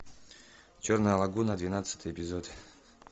черная лагуна двенадцатый эпизод